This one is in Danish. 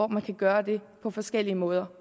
man kan gøre det på forskellige måder